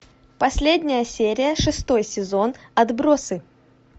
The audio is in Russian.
последняя серия шестой сезон отбросы